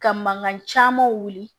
Ka mankan caman wuli